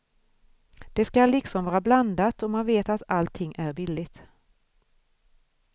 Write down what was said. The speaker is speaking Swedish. Det skall liksom vara blandat och man vet att allting är billigt.